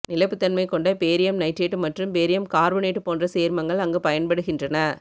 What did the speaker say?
நிலைப்புத்தன்மை கொண்ட barium nitrate மற்றும் barium carbonate போன்ற சேர்மங்கள் அங்கு பயன்படுகின்றன